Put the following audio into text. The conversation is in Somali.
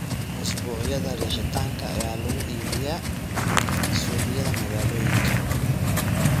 Usbuucyada riixitaanka ayaa lagu iibiyaa suuqyada magaalooyinka.